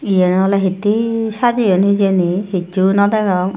iyen ole hette sajeyun hijeni hichu no degong.